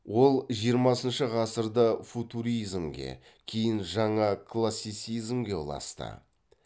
ол жиырмасыншы ғасырда футуризмге кейін жаңа классицизмге ұласты